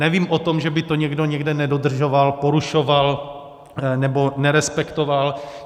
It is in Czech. Nevím o tom, že by to někdo někde nedodržoval, porušoval, nebo nerespektoval.